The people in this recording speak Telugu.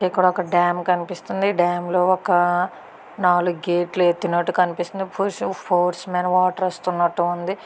ఇక్కడ ఒక డాం కనిపిస్తుంది. డాం లో ఒక నాలుగు గేట్లు ఎత్తినట్టు కనిపిస్తుంది. ఫోర్స్ మీద వాటర్ వస్తున్నట్టు ఉంది.